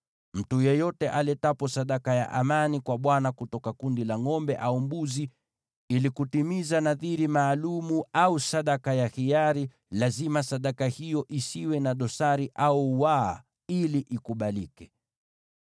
Mtu yeyote aletapo sadaka ya amani kwa Bwana kutoka kundi la ngʼombe au mbuzi ili kutimiza nadhiri maalum au sadaka ya hiari, lazima sadaka hiyo isiwe na dosari au waa ili ikubalike.